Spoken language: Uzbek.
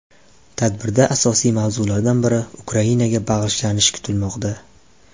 Tadbirda asosiy mavzulardan biri Ukrainaga bag‘ishlanishi kutilmoqda.